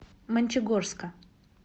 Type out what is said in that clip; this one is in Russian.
мончегорска